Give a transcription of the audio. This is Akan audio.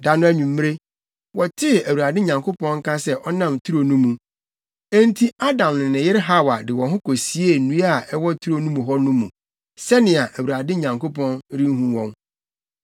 Da no anwummere, wɔtee Awurade Nyankopɔn nka sɛ ɔnam turo no mu; enti Adam ne ne yere Hawa de wɔn ho kosiee nnua a ɛwɔ turo mu hɔ no mu sɛnea Awurade Nyankopɔn renhu wɔn.